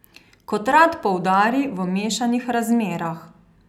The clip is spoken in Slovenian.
Kot rad poudari, v mešanih razmerah.